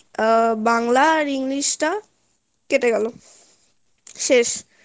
আহ বাংলা আর english টা কেটে গেলো শেষ